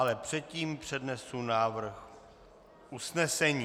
Ale předtím přednesu návrh usnesení.